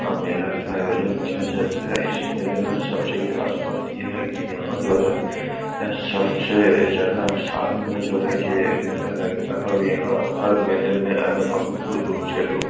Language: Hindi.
मेला का आयोजन किया जाता है। इस मेले में सब से खास बात ये है की यहाँ जो है। सब से ज्यादा आसाम में जो है ये मेला लगता है और यहाँ हर मेले में अलग बहुत दूर- दूर से लोग --